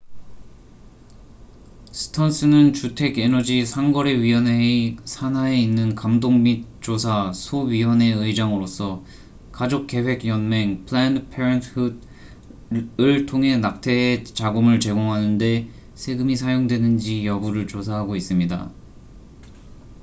스턴스는 주택 에너지 상거래위원회의 산하에 있는 감독 및 조사 소위원회 의장으로서 가족 계획 연맹planned parenthood을 통해 낙태에 자금을 제공하는 데 세금이 사용되는지 여부를 조사하고 있습니다